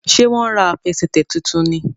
Ṣe wón rà Àfẹsẹ̀tẹ̀ títún ní?